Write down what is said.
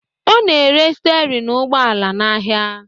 Ọ na-ere stịarịn ụgbọala n'ahịa